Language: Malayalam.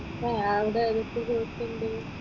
ആഹ് അവിടെ എന്തൊക്കെ കോഴ്സ് ഉണ്ട്?